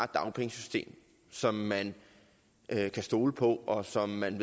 dagpengesystem som man kan stole på og som man